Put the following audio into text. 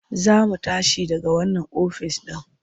Za mu tashi daga wannan ofis ɗin.